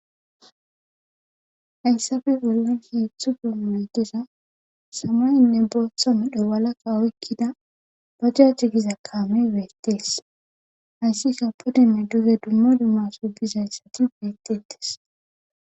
Hayssafe bollan heeththu fe maydira samaynne booththa medho walaka oykkida baja ci giza kaamey beettees hayssi ka podinne duge dummo dummaso bizathati beettettes